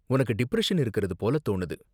உனக்கு டிப்ரெஷன் இருக்கறது போல தோணுது.